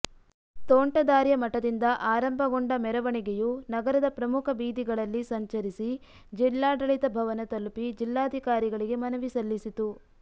ತೋಂಟದಾರ್ಯ ಮಠದಿಂದ ಆರಂಭಗೊಂಡ ಮೆರವಣಿಗೆಯು ನಗರದ ಪ್ರಮುಖ ಬೀದಿಗಳಲ್ಲಿ ಸಂಚರಿಸಿ ಜಿಲ್ಲಾಡಳಿತ ಭವನ ತಲುಪಿ ಜಿಲ್ಲಾಧಿಕಾರಿಗಳಿಗೆ ಮನವಿ ಸಲ್ಲಿಸಿತು